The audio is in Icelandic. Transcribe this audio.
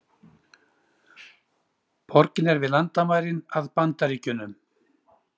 Borgin er við landamærin að Bandaríkjunum